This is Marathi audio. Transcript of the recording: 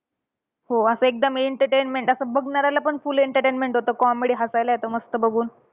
हो असं एकदम entertainment असं बघणाऱ्याला पण full entertainment होतं. Comedy हसायला येतं मस्त बघून.